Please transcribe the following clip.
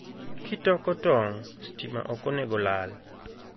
Kitoko tong, stima okonego olal